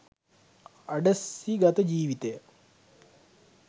අඩස්සිගත ජීවිතය